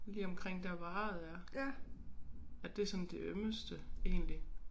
Lige omkring dér hvor arret er at det sådan det ømmeste egentlig